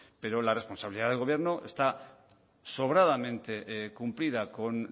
pero la responsabilidad del gobierno está sobradamente cumplida con